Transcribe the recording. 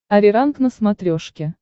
ариранг на смотрешке